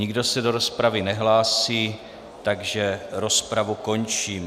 Nikdo se do rozpravy nehlásí, takže rozpravu končím.